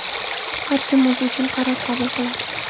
Har kim o‘zi uchun qaror qabul qiladi.